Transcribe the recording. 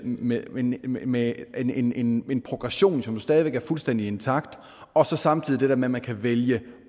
med en med en progression som stadig væk er fuldstændig intakt og så samtidig det der med at man kan vælge